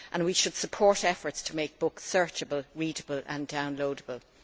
We should support efforts to make books searchable, readable and downloadable.